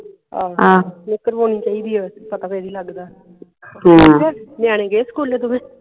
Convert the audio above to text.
check ਕਰਵਾਉਣੀ ਚਾਹੀਦੀ ਹੈ ਪਤਾ ਫੇਰ ਹੀ ਲਗਦਾ ਨਿਆਣੇ ਗਏ school ਦੋਵੇਂ